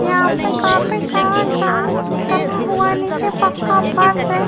यहाँ पे काफी सारा ग्राउंड डला हुआ है। नीचे पक्का फर्श है।